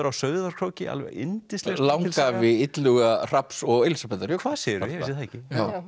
á Sauðárkróki alveg yndisleg langafi Illuga Hrafns og Elísabetar hvað segirðu ég vissi það ekki